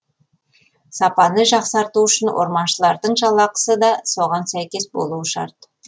сапаны жақсарту үшін орманшылардың жалақысы да соған сәйкес болуы шарт